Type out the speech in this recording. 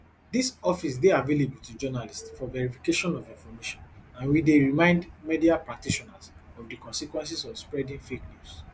dis office dey available to journalists for verification of information and we dey remind media practitioners of di consequences of spreading fake news